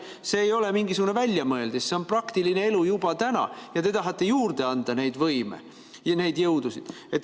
See ei ole mingisugune väljamõeldis, see on praktiline elu juba täna ja te tahate juurde anda seda võimu ja neid jõudusid.